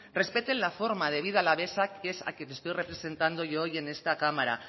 respeten la forma de vida alavesa que es a quien estoy representando yo hoy en esta cámara